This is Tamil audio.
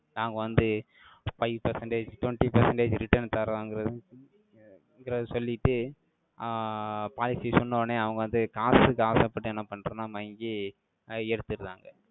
நாங்க வந்து, five percentage twenty percentage returns தரங்கறது ~குறத சொல்லிட்டு, ஆஹ் policy சொன்னவுடனே, அவங்க வந்து, காசுக்கு ஆசைப்பட்டு, என்ன பண்றோம்ன்னா, மயங்கி, அஹ் எடுத்துர்றாங்க